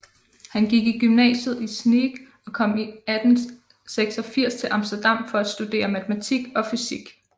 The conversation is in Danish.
Han gik i gymnasiet i Sneek og kom i 1886 til Amsterdam for at studere matematik og fysik